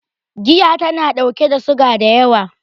Giya tana ɗauke da suga da yawa